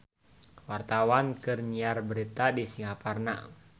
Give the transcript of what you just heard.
Wartawan keur nyiar berita di Singaparna